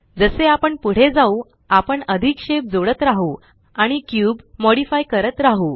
जसे आपण पुढे जाऊ आपण अधिक शेप जोडत राहू आणि क्यूब मॉडिफाइ करत राहू